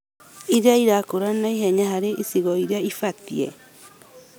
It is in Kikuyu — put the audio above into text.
ĩrĩa ĩrakũra naihenya harĩ icigo irĩa cibatie